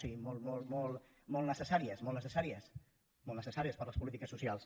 sí molt necessàries molt necessàries per a les polítiques socials